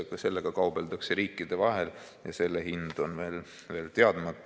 Sellega kaubeldakse riikide vahel ja selle hind on veel teadmata.